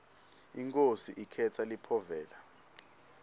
inkhosi ikhetsa liphovela